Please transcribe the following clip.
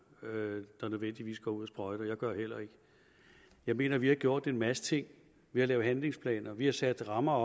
der nødvendigvis går ud og sprøjter jeg gør det heller ikke jeg mener vi har gjort en masse ting vi har lavet handlingsplaner vi har sat rammer